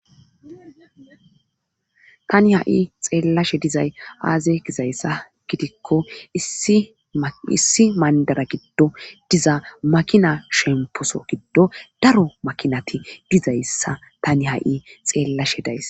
tani ha7i xeellashe dizay aaze gizayssa gidikko issi mayndara giddo diza makina shemposo giddo daro makinati dizayssa tani ha7i xeellashe days